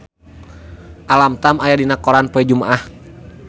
Alam Tam aya dina koran poe Jumaah